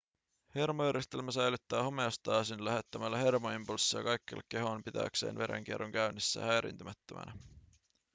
hermojärjestelmä säilyttää homeostaasin lähettämällä hermoimpulsseja kaikkialle kehoon pitääkseen verenkierron käynnissä ja häiriintymättömänä